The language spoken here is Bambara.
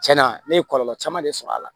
Cɛn na ne ye kɔlɔlɔ caman de sɔrɔ a la